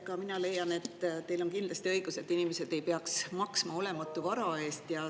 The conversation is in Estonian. Ka mina leian, et teil on kindlasti õigus, et inimesed ei peaks maksma olematu vara eest.